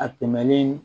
A tɛmɛlen